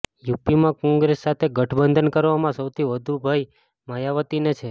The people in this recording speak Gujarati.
યુપીમાં કોંગ્રેસ સાથે ગઠબંધન કરવામાં સૌથી વધુ ભય માયાવતીને છે